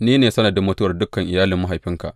Ni ne sanadin mutuwar dukan iyalin mahaifinka.